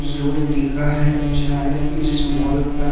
लिखा है शायद इस मॉल का--